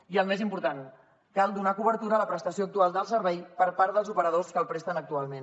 i el més important cal donar cobertura a la prestació actual del servei per part dels operadors que el presten actualment